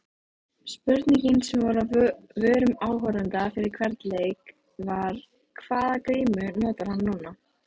Spurningin sem var á vörum áhorfenda fyrir hvern leik var- hvaða grímu notar hann núna?